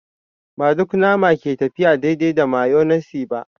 Ba duk nama ke tafiya daidai da mayonnaise ba.